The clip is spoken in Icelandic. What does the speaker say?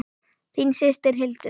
Þín systir, Hildur.